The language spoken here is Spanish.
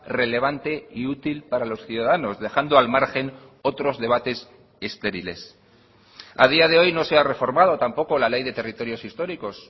relevante y útil para los ciudadanos dejando al margen otros debates estériles a día de hoy no se ha reformado tampoco la ley de territorios históricos